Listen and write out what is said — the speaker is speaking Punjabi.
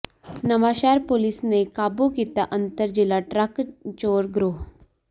ਨਵਾਂਸ਼ਹਿਰ ਪੁਲਿਸ ਨੇ ਕਾਬੂ ਕੀਤਾ ਅੰਤਰ ਜ਼ਿਲ੍ਹਾ ਟਰੱਕ ਚੋਰ ਗਰੋਹ